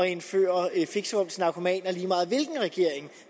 indføre fixerum til narkomaner lige meget hvilken regering